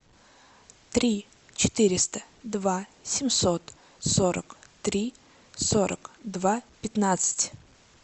три четыреста два семьсот сорок три сорок два пятнадцать